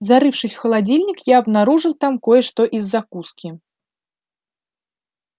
зарывшись в холодильник я обнаружил там кое-что из закуски